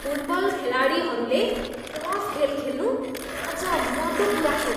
Football खेलाडीहरूले rough खेल खेल्नु लाजमर्दो कुरा हो।